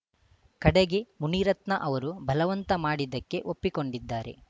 ಕಡೆಗೆ ಮುನಿರತ್ನ ಅವರು ಬಲವಂತ ಮಾಡಿದ್ದಕ್ಕೆ ಒಪ್ಪಿಕೊಂಡಿದ್ದಾರೆ